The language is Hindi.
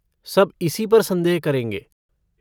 सब इसी पर संदेह करेंगे।